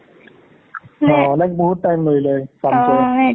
like বহুত time লাগিলে কামটোত ।